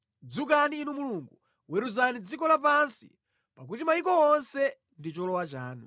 Dzukani Inu Mulungu, weruzani dziko lapansi, pakuti mayiko onse ndi cholowa chanu.